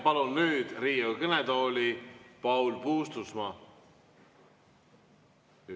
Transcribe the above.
Palun nüüd Riigikogu kõnetooli Paul Puustusmaa.